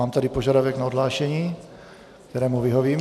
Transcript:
Mám tady požadavek na odhlášení, kterému vyhovím.